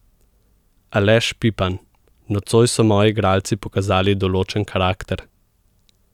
Aleš Pipan: "Nocoj so moji igralci pokazali določen karakter.